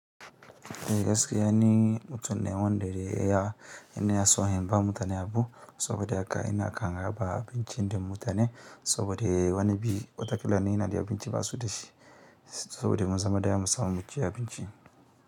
Eh gaskiya ni mutum ne wanda ya son hanyar ba mutane abu saboda haka ina kan raba abinci dan mutane saboda wani bi wata ƙila ni inada abinci basuda shi saboda muzama da yawa musamu muci ci abinci.